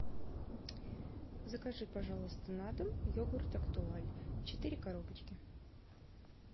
закажи пожалуйста на дом йогурт актуаль четыре коробочки